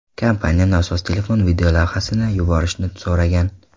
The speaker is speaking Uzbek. Kompaniya nosoz telefon videolavhasini yuborishni so‘ragan.